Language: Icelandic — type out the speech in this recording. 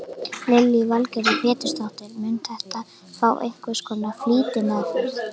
Lillý Valgerður Pétursdóttir: Mun þetta fá einhvers konar flýtimeðferð?